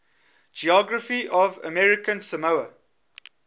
geography of american samoa